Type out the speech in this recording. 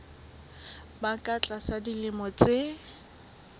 ba ka tlasa dilemo tse